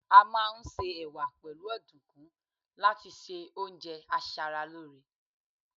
a ma n se ẹwà pẹlu ọdunkun láti ṣe oúnjẹ asaralore